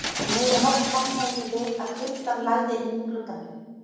Um miðja nótt vaknaði ég við að kuldann lagði inn um gluggann minn.